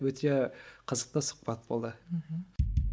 өте қызықты сұхбат болды мхм